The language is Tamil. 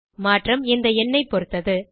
மாற்றம் இந்த எண்ணை பொருத்தது